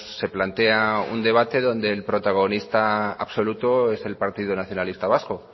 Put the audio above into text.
se plantea un debate donde el protagonista absoluto es el partido nacionalista vasco